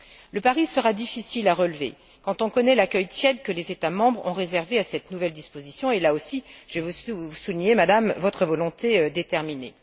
Le pari sera difficile à relever quand on connaît l'accueil tiède que les États membres ont réservé à cette nouvelle disposition, et là aussi, je veux souligner, Madame, votre volonté déterminée.